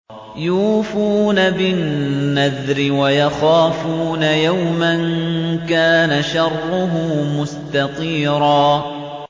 يُوفُونَ بِالنَّذْرِ وَيَخَافُونَ يَوْمًا كَانَ شَرُّهُ مُسْتَطِيرًا